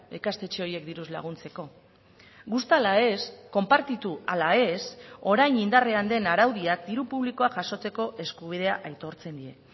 ikastetxe horiek diruz laguntzeko gusta a la ez konpartitu ala ez orain indarrean den araudiak diru publikoa jasotzeko eskubidea aitortzen die